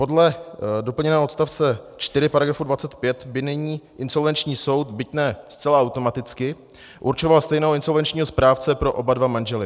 Podle doplněného odstavce 4 § 25 by nyní insolvenční soud, byť ne zcela automaticky, určoval stejného insolvenčního správce pro oba dva manžele.